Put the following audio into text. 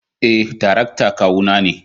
Eh, tarakta kawu na ne.